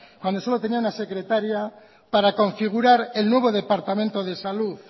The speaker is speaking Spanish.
cuando solo tenía una secretaria para configurar el nuevo departamento de salud